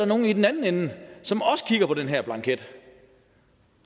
nogle i den anden ende som kigger på den her blanket